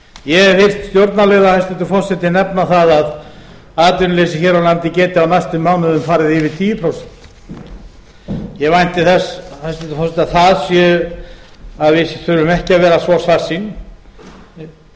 ég hef heyrt stjórnarliða hæstvirtur forseti nefna það að atvinnuleysi hér á landi geti á næstu mánuðum farið yfir tíu prósent ég vænti þess hæstvirtur forseti að við þurfum ekki að vera svo svartsýn